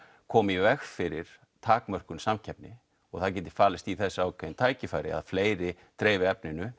koma í veg fyrir takmörkun samkeppni og það geti falist í þessu ákveðin tækifæri að fleiri dreifi efninu